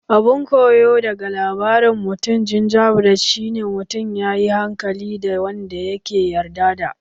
Abun koyo daga labarin mutumin gingerbread shi ne mutun ya yi hankali da wanda ya ke yarda da